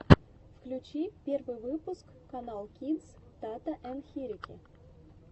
включи первый выпуск каналкидс тата ен хирики